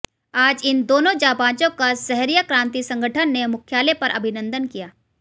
आज इन दोनों जांबाजों का सहरिया क्रांति संगठन ने मुख्यालय पर अभिनंदन किया